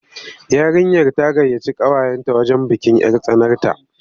Yarinyar ta gayyaci ƙawayenta wajen bikin 'yar tsanarta.